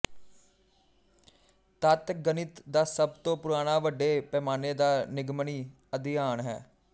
ਤੱਤ ਗਣਿਤ ਦਾ ਸਭ ਤੋਂ ਪੁਰਾਣਾ ਵੱਡੇ ਪੈਮਾਨੇ ਦਾ ਨਿਗਮਨੀ ਅਧਿਐਨ ਹੈ